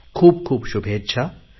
खूपखूप शुभेच्छा